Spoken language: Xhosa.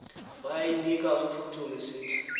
wayinika umphuthumi esithi